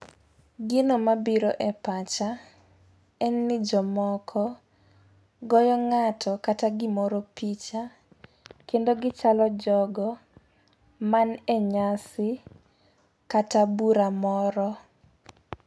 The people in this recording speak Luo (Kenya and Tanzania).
Gino mabiro e pacha en ni jomoko goyo ng'ato kata gimoro picha kendo gichalo jogo man e nyasi kata bura moro.